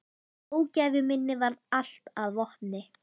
Ógæfu minni varð allt að vopni.